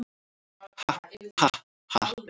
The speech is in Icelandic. Ha ha ha.